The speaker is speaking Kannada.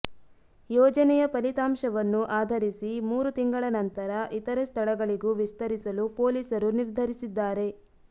ಯೋಜನೆಯ ಫಲಿತಾಂಶವನ್ನು ಆಧರಿಸಿ ಮೂರು ತಿಂಗಳ ನಂತರ ಇತರೆ ಸ್ಥಳಗಳಿಗೂ ವಿಸ್ತರಿಸಲು ಪೊಲೀಸರು ನಿರ್ಧರಿಸಿದ್ದಾರೆ